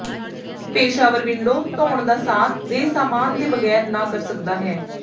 ਪੇਸ਼ਾਵਰ window ਧੋਣ ਦਾ ਸਾਥ ਦੇ ਸਾਮਾਨ ਦੇ ਬਗੈਰ ਨਾ ਕਰ ਸਕਦਾ ਹੈ